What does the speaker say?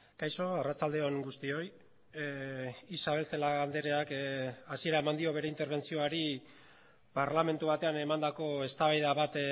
kaixo arratsalde on guztioi isabel celaá andreak hasiera eman dio bere interbentzioari parlamentu batean emandako eztabaida bat